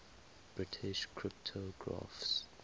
british cryptographers